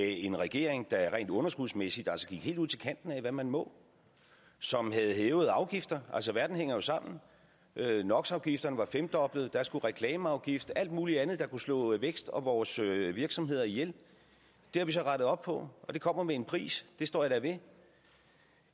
en regering der rent underskudsmæssigt altså gik helt ud til kanten af hvad man må som havde hævet afgifter altså verden hænger jo sammen nox afgifterne var femdoblet og der skulle komme reklameafgift og alt mulig andet der kunne slå vækst og vores virksomheder ihjel det har vi så rettet op på og det kommer med en pris det står jeg da ved